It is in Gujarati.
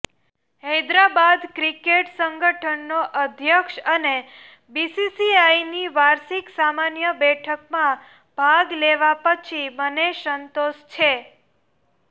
હૈદરાબાદ ક્રિકેટ સંગઠનનો અધ્યક્ષ અને બીસીસીઆઈની વાર્ષિક સામાન્ય બેઠકમાં ભાગ લેવા પછી મને સંતોષ છે